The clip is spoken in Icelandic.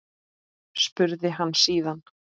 spurði hann síðan.